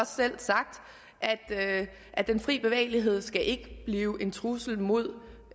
selv sagt at den frie bevægelighed ikke skal blive en trussel mod